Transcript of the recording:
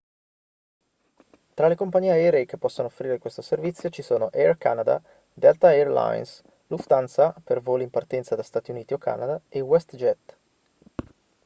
tra le compagnie aeree che possono offrire questo servizio ci sono air canada delta air lines lufthansa per i voli in partenza da stati uniti o canada e westjet